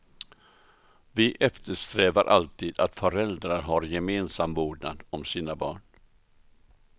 Vi eftersträvar alltid att föräldrar har gemensam vårdnad om sina barn.